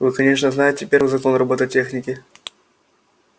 вы конечно знаете первый закон робототехники